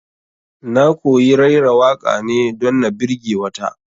Na koyi raira waƙa ne don na birge ta